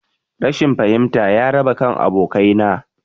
Rashin fahimta ya raba kan abokanai